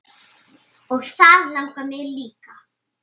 Og það langar mig líka.